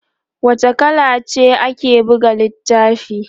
wace kala ce ake buga littafin?